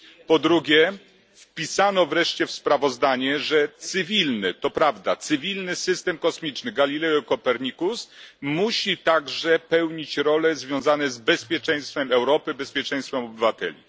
Po drugie, wpisano wreszcie w sprawozdanie, że cywilny to prawda cywilny system kosmiczny Galileo i Copernicus musi także pełnić role związane z bezpieczeństwem Europy, bezpieczeństwem obywateli.